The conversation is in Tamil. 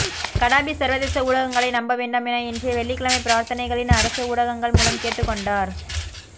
கடாபி சர்வதேச ஊடகங்களை நம்ப வேண்டாம் என இன்றைய வெள்ளிகிழமை பிரார்த்தனைகளின் அரச ஊடகங்கள் மூலம் கேட்டுக்கொண்டார்